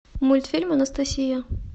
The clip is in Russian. мультфильм анастасия